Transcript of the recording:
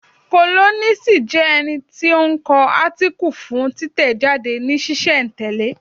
Kólọ́nisi jẹ́ ẹni tí ó ń kọ átíkù fún títẹ̀ jáde ní sísẹ̀ n tẹ̀lẹ́